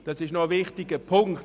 Das ist ein wichtiger Punkt.